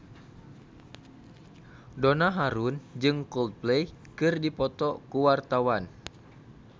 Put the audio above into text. Donna Harun jeung Coldplay keur dipoto ku wartawan